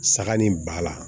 Saga ni ba la